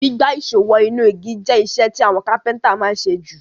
Gbígbá ìsó wo inú igi je isẹ́ ti àwon carpenter ma n sé ju